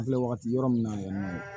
An filɛ wagati yɔrɔ min na yanni